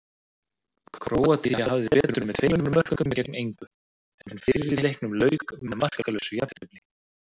Króatía hafði betur með tveimur mörkum gegn engu, en fyrri leiknum lauk með markalausu jafntefli.